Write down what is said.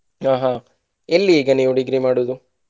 ಹಾ ಹಾ ಎಲ್ಲಿ ಈಗ ಅವ್ನ degree ಮಾಡುವುದು.